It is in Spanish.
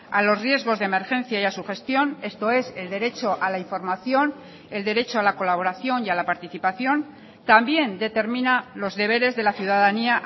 a los riesgos de emergencia y a su gestión esto es el derecho a la información el derecho a la colaboración y a la participación también determina los deberes de la ciudadanía